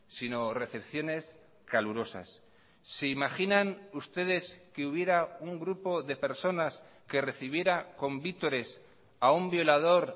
sino recepciones calurosas se imaginan ustedes que hubiera un grupo de personas que recibiera con vítores a un violador